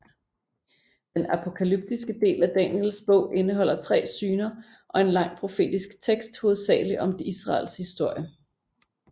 Den apokalyptiske del af Daniels Bog indeholder tre syner og en lang profetisk tekst hovedsageligt om Israels historie